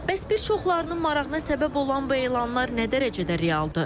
Bəs bir çoxlarının marağına səbəb olan bu elanlar nə dərəcədə realdır?